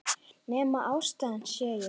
Nema ástæðan sé ég.